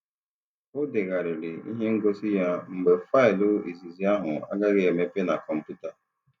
Ọ degharịrị ihe ngosi ya mgbe faịlụ izizi ahụ agaghị emepe na kọmpụta.